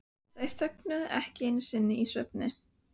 Þær þögnuðu ekki einu sinni í svefni.